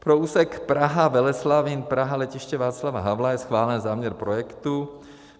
Pro úsek Praha-Veleslavín, Praha-Letiště Václava Havla je schválen záměr projektu.